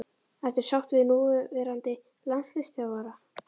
Ertu sáttur með núverandi landsliðsþjálfara?